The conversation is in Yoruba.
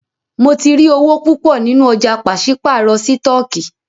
Mó tí rí owó púpọ nínú ọ̀jà pàṣípàrọ̀ sítọ̀kì.